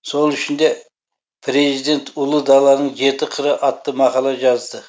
сол үшін де президент ұлы даланың жеті қыры атты мақала жазды